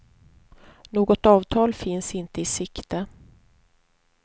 Något avtal finns inte i sikte.